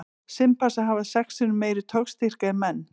Simpansar hafa sex sinnum meiri togstyrk en menn.